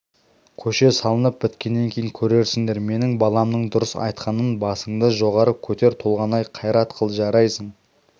көше салынып біткеннен кейін көрерсіңдер менің баламның дұрыс айтқанын басыңды жоғары көтер толғанай қайрат қыл жарайды